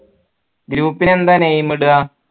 group ന് എന്താ name ഇടാ